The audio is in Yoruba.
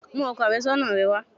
Mú ọkọ àfẹ́sọ́nà rẹ wá!